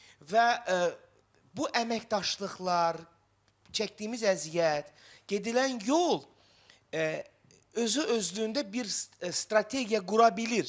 Və bu əməkdaşlıqlar, çəkdiyimiz əziyyət, gedilən yol özü-özlüyündə bir strategiya qura bilir, yarada bilir.